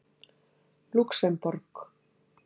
Lúxemborg